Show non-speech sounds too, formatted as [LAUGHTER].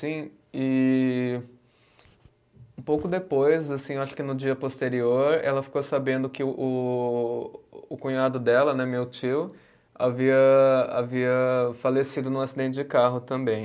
[UNINTELLIGIBLE] E um pouco depois, assim eu acho que no dia posterior, ela ficou sabendo que o, o cunhado dela né, meu tio, havia havia falecido num acidente de carro também.